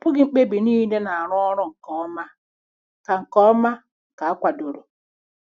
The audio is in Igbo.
Ọ bụghị mkpebi niile na-arụ ọrụ nke ọma ka nke ọma ka akwadoro.